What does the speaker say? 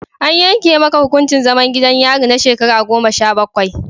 An yanke maka hukuncin zaman gidan yari na shekaru goma sha bakwai.